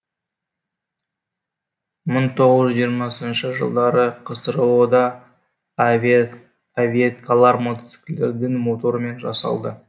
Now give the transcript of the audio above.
мың тоғыз жүз жиырмасыншы жылдары ксро да авиеткалар мотоциклдердің моторымен жасалды